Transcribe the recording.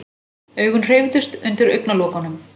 Augun hreyfðust undir augnalokunum.